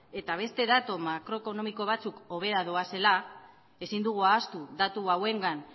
eta beste datu makroekonomiko batzuek hobera doazela ezin dugu ahaztu datu hauengan